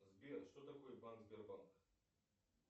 сбер что такое банк сбербанк